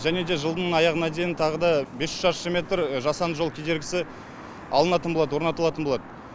және де жылдың аяғына дейін тағы да бес жүз шаршы метр жасанды жол кедергісі алынатын болады орнатылатын болады